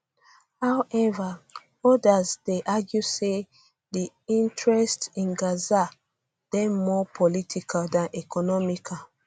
however um odas dey argue say um di interest in gaza dey more political dan economical